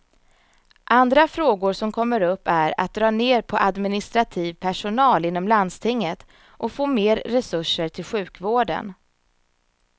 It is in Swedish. Andra frågor som kommer upp är att dra ner på administrativ personal inom landstinget och få mer resurser till sjukvården.